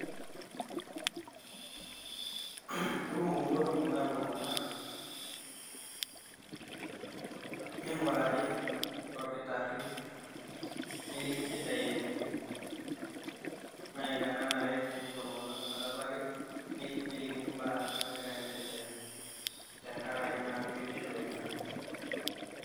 Kekumok inkolong'i naapuo iltung'anak ming'urari, to olkitar'rri neliki injidai enye. Naa ina nanare teepuo iltung'anak metabaki nelikini imbaa nagira aiendelea tenkaraki biotisho enye.